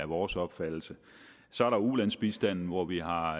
vores opfattelse så er der ulandsbistanden hvor vi har